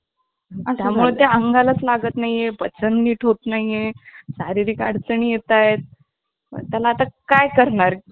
आणि आमची भांडणं. वर्गात पहिला number त्याचा किंवा माझा. आम्हा दोघांचा असायचा ना, मग आम्ही नेमके भांडायचो पहिला number त्याचाला की मला राग यायचा. मग तो मला चिडवायचा मी पहिला आलो.